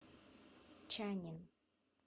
чаннин